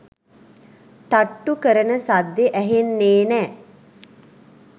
තට්ටු කරන සද්දෙ ඇහෙන්නේ නෑ”.